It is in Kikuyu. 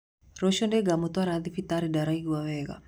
Rũcio nĩngamũtwara thibitarĩ ndaraigũa wega